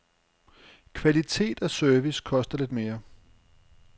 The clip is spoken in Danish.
Kvalitet og service koster lidt mere.